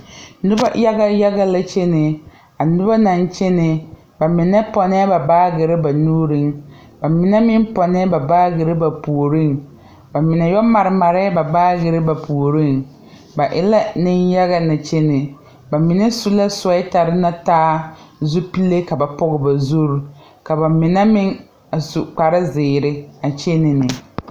Noba yaga yaga la kyɛnɛ a noba naŋ kyɛnɛ ba mine pɔnɛɛ ba baagerre ba nuuriŋ ba mine meŋ pɔnnɛɛ ba baagerre ba puoriŋ ba min yɔ mare mareɛɛ ba baagerre ba puoriŋ ba e la neŋ yaga lɛ kyɛnɛ ba mine su la suwɛɛtarre na taa zupile ka ba Pɔge ba zuri ka ba mine meŋ a su kparezeere a kyenɛɛ neŋ.